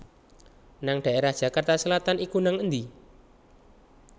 nang daerah Jakarta Selatan iku nang endi?